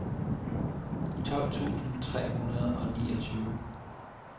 tolv tusind tre hundrede og niogtyve